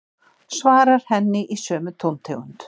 Svarar henni í sömu tóntegund.